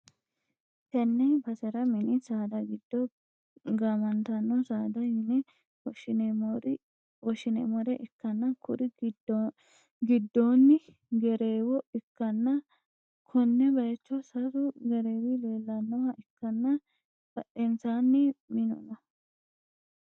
Tenne basera mini saada giddo gaamantanno saada yine woshineemmore ikkanna, kuri giddoonni gereewo ikkanna, konne bayicho sasu gereewi leellannoha ikkanna, badhensaanni minu no.